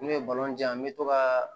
N'o ye an bɛ to ka